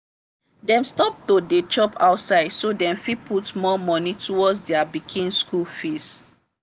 dem stop to dey chop outside so dem fit put more money towards their pikin school fees.